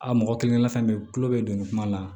A mɔgɔ kelen kelenna fɛn be yen tulo be don nin kuma la